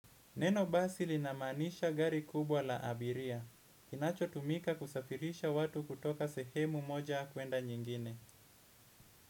Neno basi linamaanisha gari kubwa la abiria. Kinachotumika kusafirisha watu kutoka sehemu moja kwenda nyingine.